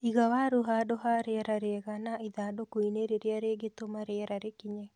Iga waru handũ ha rĩera rĩega na ithandũkũ-inĩ rĩrĩa rĩngĩtũma rĩera rĩkinye.